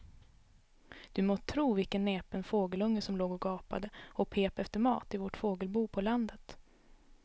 Du må tro vilken näpen fågelunge som låg och gapade och pep efter mat i vårt fågelbo på landet.